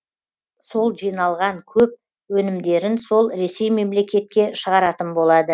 сол жиналған көп өнімдерін сол ресей мемлекетке шығаратын болады